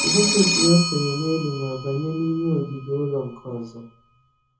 Bucket ya sere n'elu ma banye n'ime ogige ụlọ nke ọzọ